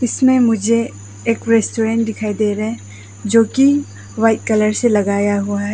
इसमें मुझे एक रेस्टोरेंट दिखाई दे रहे हैं जो की वाइट कलर से लगाया हुआ है।